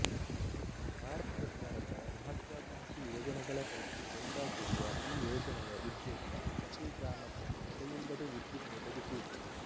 ಭಾರತ ಸರ್ಕಾರದ ಮಹತ್ವಾಕಾಂಕ್ಷಿ ಯೋಜನೆಗಳ ಪೈಕಿ ಒಂದಾಗಿರುವ ಈ ಯೋಜನೆಯ ಉದ್ದೇಶ ಪ್ರತೀ ಗ್ರಾಮಕ್ಕೂ ತಡೆಯಿಲ್ಲದೆ ವಿದ್ಯುತ್ ಒದಗಿಸುವುದು